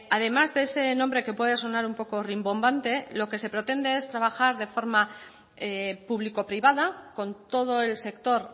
además de ese nombre que puede sonar un poco rimbombante lo que se pretende es trabajar de forma público privada con todo el sector